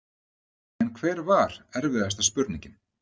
En hver var erfiðasta spurningin?